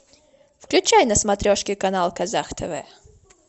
включай на смотрешке канал казах тв